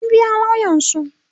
sun biya lauyansu